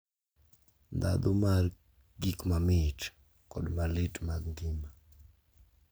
Ndhandhu mar gik mamit kod malit mag ngima.